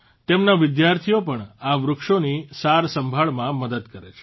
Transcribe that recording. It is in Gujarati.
તેમના વિદ્યાર્થીઓ પણ આ વૃક્ષોની સારસંભાળમાં મદદ કરે છે